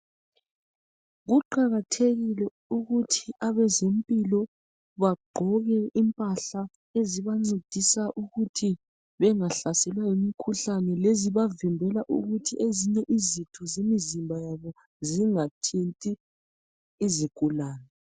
kuqakathekile ukuthi abezempilo bagqoke impahla ezibancedisa ukuthi bengahlaselwa yimikhuhlane lezibavimbela ukuthi ezinye izinto zomzimb yabo zinga thinti izigulane